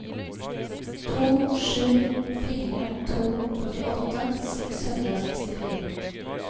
to sju fire to førtiåtte seks hundre og sekstifire